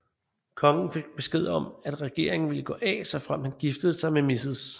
Kongen fik besked om at regeringen ville gå af såfremt han giftede sig med Mrs